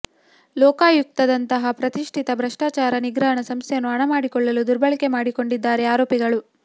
ಲೋಕಾಯುಕ್ತದಂತಹ ಪ್ರತಿಷ್ಠಿತ ಭ್ರಷ್ಟಾಚಾರ ನಿಗ್ರಹ ಸಂಸ್ಥೆಯನ್ನು ಹಣ ಮಾಡಿಕೊಳ್ಳಲು ದುರ್ಬಳಕೆ ಮಾಡಿಕೊಂಡಿದ್ದಾರೆ ಆರೋಪಿಗಳು